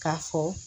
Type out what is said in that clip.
K'a fɔ